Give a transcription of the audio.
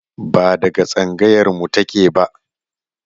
Ba daga tsangayar mu take ba